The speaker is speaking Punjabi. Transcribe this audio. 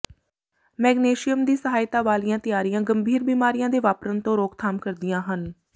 ਮੈਗਨੇਸ਼ਿਅਮ ਦੀ ਸਹਾਇਤਾ ਵਾਲੀਆਂ ਤਿਆਰੀਆਂ ਗੰਭੀਰ ਬਿਮਾਰੀਆਂ ਦੇ ਵਾਪਰਨ ਤੋਂ ਰੋਕਥਾਮ ਕਰਦੀਆਂ ਹਨ